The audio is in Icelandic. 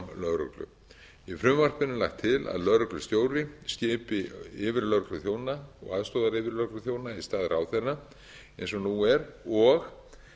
lögreglu í frumvarpinu er lagt til að lögreglustjóri skipi yfirlögregluþjóna og aðstoðaryfirlögregluþjóna í stað ráðherra eins og nú er og